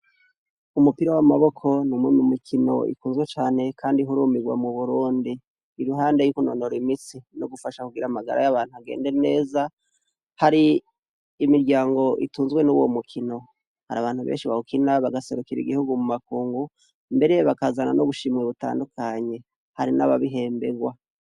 Mumupira wamaboko numwe munkino ikunzwe cane uhurumburwa muburundi iruhande yo kunonora imitse no gufasha kugira amagara agenda neza hari imiryango itunzwe nuyo mukino harabantu benshi bawukina baserukira igihugu mumakungu mbere bakazana nubushimwe butandukanye hari nababihembwarwa